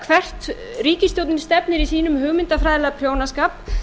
hvert ríkisstjórnin stefnir í sínum hugmyndafræðilega prjónaskap